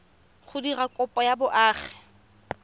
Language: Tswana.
go dira kopo ya boagi